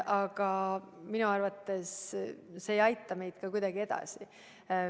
Aga minu arvates see ei aita meid kuidagi edasi.